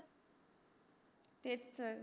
तेच तर